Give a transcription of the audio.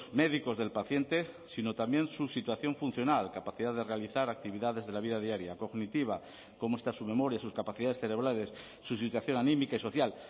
médicos del paciente sino también su situación funcional capacidad de realizar actividades de la vida diaria cognitiva cómo está su memoria sus capacidades cerebrales su situación anímica y social